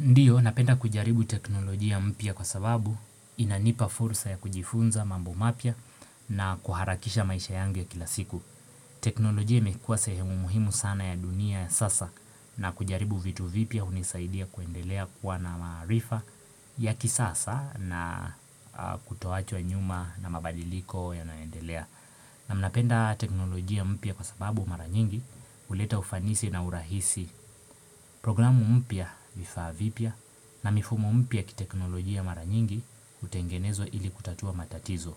Ndiyo, napenda kujaribu teknolojia mpya kwa sababu inanipa fursa ya kujifunza mambo mapya na kuharakisha maisha yangu ya kila siku. Teknolojia imekua sehemu muhimu sana ya dunia ya sasa, na kujaribu vitu vipya hunisaidia kuendelea kuwa na maarifa ya kisasa na a kutoachwa nyuma na mabadiliko yanayoendelea. Na mnapenda teknolojia mpya kwa sababu mara nyingi, huleta ufanisi na urahisi. Programu mpya, vifaa vipya, na mifumo mpya ya kiteknolojia mara nyingi, hutengenezwa ili kutatua matatizo,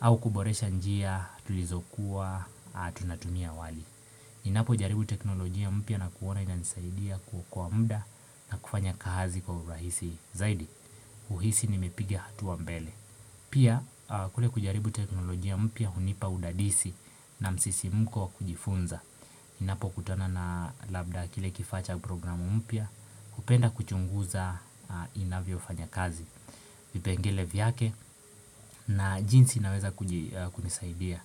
au kuboresha njia tulizokuwa a tunatumia awali. Ninapo jaribu teknolojia mpya na kuona inanisaidia ku kwa muda, na kufanya kaazi kwa urahisi, zaidi, huhisi nimepiga hatua mbele. Pia, a kule kujaribu teknolojia mpya hunipa udadisi, na msisimko wa kujifunza. Nnapo kutana na labda kile kifaa cha programu mpya, hupenda kuchunguza, a inavyo fanya kazi vipengele vyake, na jinsi inaweza kuji a kunisaidia.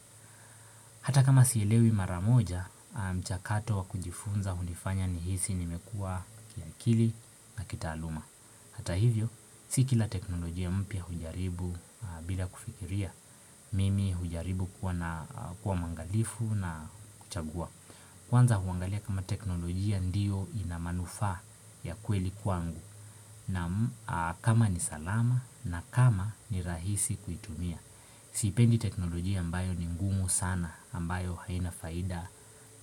Hata kama sielewi mara moja, a mchakato wa kujifunza hunifanya nihisi nimekua kiakili, na kitaaluma. Hata hivyo, si kila teknolojia mpya hujaribu a bila kufikiria. Mimi hujaribu kuwa na a kuwa mwangalifu na kuchagua. Kwanza huangalia kama teknolojia ndio ina manufaa, ya kweli kwangu. Naam, a kama ni salama na kama ni rahisi kuitumia. Sipendi teknolojia ambayo ni ngumu sana ambayo haina faida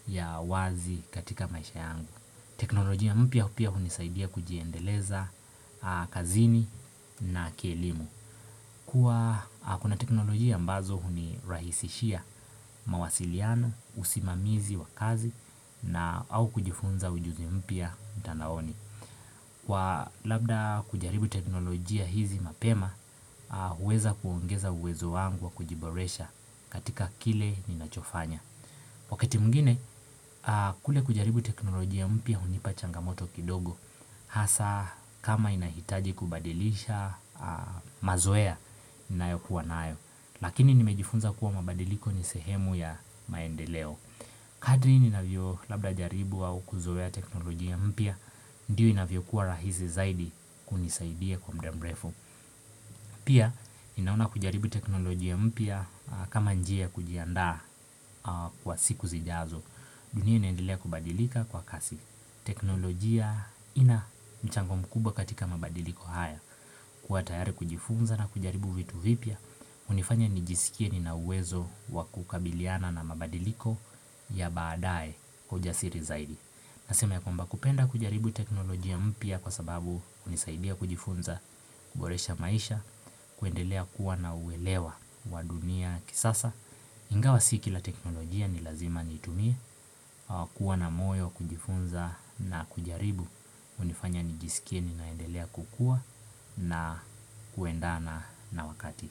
ya wazi katika maisha yangu. Teknolojia mpya pia hunisaidia kujiendeleza kazini na kielimu. Kuwa a kuna teknolojia ambazo hunirahisishia, mawasiliano, usimamizi wa kazi na au kujifunza ujuzi mpya mtandaoni. Kwa labda kujaribu teknolojia hizi mapema, a huweza kuongeza uwezo wangu wa kujiboresha katika kile ninachofanya. Wakati mwingine, a kule kujaribu teknolojia mpya hunipa changamoto kidogo. Hasa kama inahitaji kubadilisha a mazoea nnayo kuwa nayo. Lakini nimejifunza kuwa mabadiliko ni sehemu ya maendeleo. Kadri ninavyo labda jaribu au kuzoea teknolojia mpya Ndiyo inavyokuwa rahisi zaidi, kunisaidia kwa mda mrefu. Pia, inaona kujaribu teknolojia mpya, a kama njia ya kujiandaa, a kwa siku zijazo. Dunia inaendelea kubadilika kwa kasi. Teknolojia ina mchango mkubwa katika mabadiliko haya. Kuwa tayari kujifunza na kujaribu vitu vipya, hunifanya nijisikie nina uwezo wa kukabiliana na mabadiliko, ya baadae kwa ujasiri zaidi. Nasema ya kwamba kupenda kujaribu teknolojia mpya kwa sababu hunisaidia kujifunza, kuboresha maisha, kuendelea kuwa na uwelewa wa dunia kisasa. Ingawa si kila teknolojia ni lazima niitumie, a kuwa na moyo, kujifunza na kujaribu, hunifanya nijisikie ninaendelea kukuwa, na kuendana na wakati.